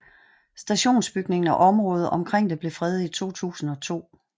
Stationsbygningen og området omkring det blev fredet i 2002